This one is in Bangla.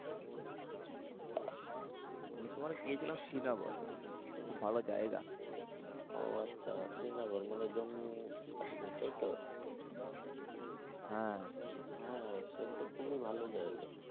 আমি তো মানে গিয়েছিলাম শ্রীনগর। খুব ভালো জায়গা। ও আচ্ছা শ্রীনগর মানে জম্মু কাশ্মীর তাই তো? হ্যাঁ। সসে তো খুবই ভালো জায়গা।